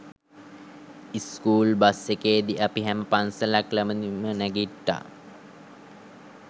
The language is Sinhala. ස්කුල් බස් එකේදී අපි හැම පන්සලක් ළඟදීම නැගිට්ට.